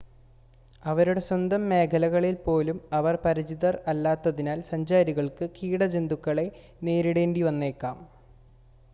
അവരുടെ സ്വന്തം മേഖലകളിൽ പോലും അവർ പരിചിതർ അല്ലാത്തതിനാൽ സഞ്ചാരികൾക്ക് കീട ജന്തുക്കളെ നേരിടേണ്ടിവന്നേക്കാം